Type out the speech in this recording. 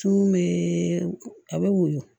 Cun bee a be woyo